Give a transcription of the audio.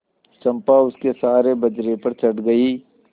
चंपा उसके सहारे बजरे पर चढ़ गई